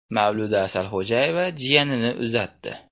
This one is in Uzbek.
Mavluda Asalxo‘jayeva jiyanini uzatdi.